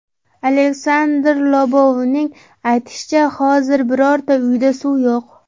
Aleksandr Lobovning aytishicha, hozir birorta uyda suv yo‘q.